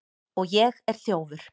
Og ég er þjófur.